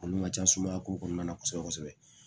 Olu ka ca sumaya ko kɔnɔna na kosɛbɛ kosɛbɛ